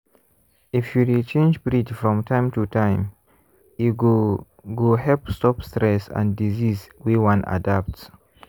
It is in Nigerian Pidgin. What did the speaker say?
if you dey change breed from time to time e go go help stop stress and disease wey wan adapt.